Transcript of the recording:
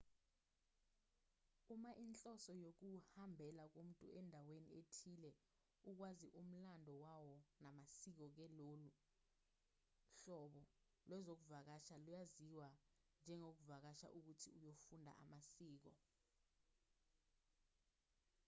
uma inhloso yokuhambela komuntu endaweni ethile ukwazi umlando wawo namasiko ke lolu hlobo lwezokuvakasha luyaziwa njengokuvakasha ukuthi uyofunda amasiko